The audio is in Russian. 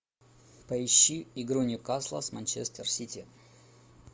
поищи игру ньюкасла с манчестер сити